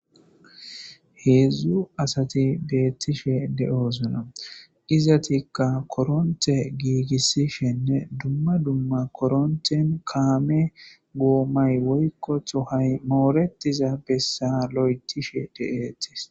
heedzdzu asati beettishe de7osona izatikka koronte giigissishenne dumma dumma koronten kaame goommay woykkotho hay mooretiza bessa lo7etishe de7eetis